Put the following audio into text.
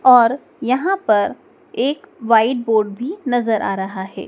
और यहां पर एक व्हाइट बोर्ड भी नजर आ रहा है।